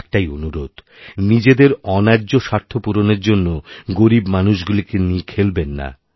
একটাই অনুরোধ নিজেদের অন্যায্য স্বার্থ পূরণের জন্য গরীবমানুষগুলিকে নিয়ে খেলবেন না